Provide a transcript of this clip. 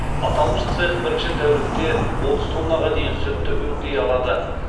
аталмыш цех бірінші тәулікте отыз тоннаға дейін сүтті өңдей алады